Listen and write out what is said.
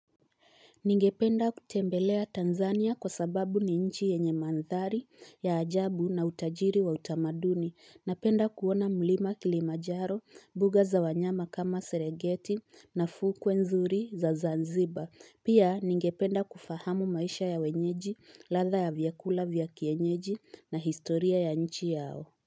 Ningependa kutembelea Tanzania kwa sababu ni nchi yenye mandhari ya ajabu na utajiri wa utamaduni. Napenda kuona mlima Kilimanjaro, mbuga za wanyama kama Serengeti na fukwe nzuri za Zanzibar. Pia ningependa kufahamu maisha ya wenyeji, ladha ya vyakula vya kienyeji na historia ya nchi yao.